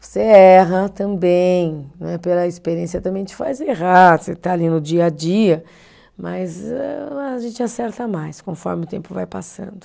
Você erra também né, pela experiência também te faz errar, você está ali no dia a dia, mas âh, a gente acerta mais conforme o tempo vai passando.